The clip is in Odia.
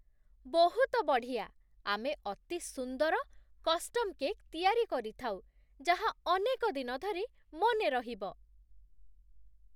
ବହୁତ ବଢ଼ିଆ! ଆମେ ଅତି ସୁନ୍ଦର କଷ୍ଟମ୍ କେକ୍ ତିଆରି କରିଥାଉ, ଯାହା ଅନେକଦିନ ଧରି ମନେରହିବ!